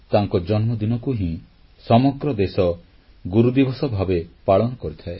ତାଙ୍କ ଜନ୍ମଦିନକୁ ହିଁ ସମଗ୍ର ଦେଶ ଗୁରୁଦିବସ ଭାବେ ପାଳନ କରିଥାଏ